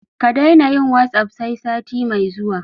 Ka daina yin "WhatsApp" sai sati mai zuwa.